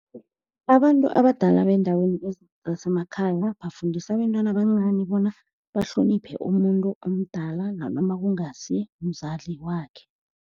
Abantu abadala bendaweni zasemakhaya bafundisa abentwana bancani bona bahloniphe umuntu omdala, nanoma kungasi umzali wakhe.